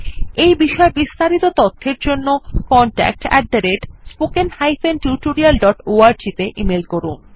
এই বিষয় বিস্তারিত তথ্যের জন্য contactspoken tutorialorg তে ইমেল করুন